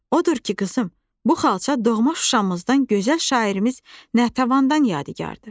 Odur ki, qızım, bu xalça doğma Şuşamızdan gözəl şairimiz Natəvandan yadigardır.